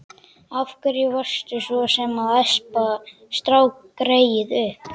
Af hverju varstu svo sem að espa strákgreyið upp?